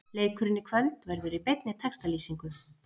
Leikurinn í kvöld verður í beinni textalýsingu.